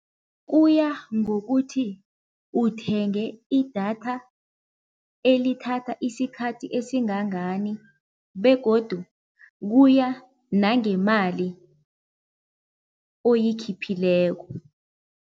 Kuya ngokuthi uthenge idatha elithatha isikhathi esingangani begodu kuya nangemali oyikhiphileko.